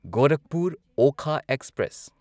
Gorakhpur Okha express